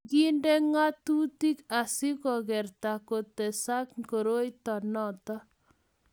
kikinde ng'atutik asikukerta kutesaka koroito noto